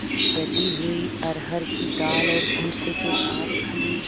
दली हुई अरहर की दाल और भूसे के साथ खली